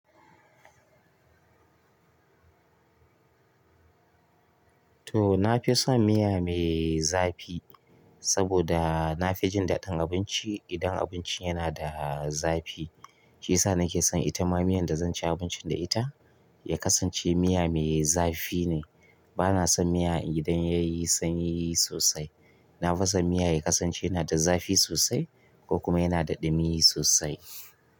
To, na fi son miya mai zafi saboda na fi jin daɗin abinci idan abinci yana da zafi. Shi ya sa nake son ita ma miyan da zan ci abincin da ita ya kasance miya mai zafi ne. Bana son miya idan ya yi sanyi sosai. Na fi son miya ya kasance yana da zafi sosai ko kuma yana da ɗumi sosai.